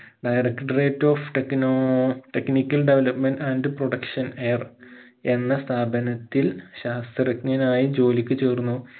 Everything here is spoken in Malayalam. directorate of techno technical development and production air എന്ന സ്ഥാപനത്തിൽ ശാസ്ത്രജ്ഞനായി ജോലിക് ചേർന്നു